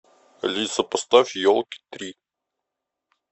алиса поставь елки три